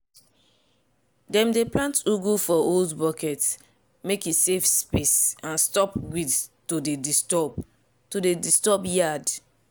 dem dey plant ugu for old bucket mek e save space and stop weed to dey disturb to dey disturb yard.